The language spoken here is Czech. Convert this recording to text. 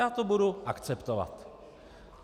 Já to budu akceptovat.